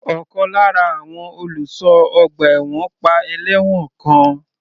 Ọ̀kan lára àwọn olùṣọ́ ọgbà ẹ̀wọ̀n pa ẹlẹ́wọ̀n kan.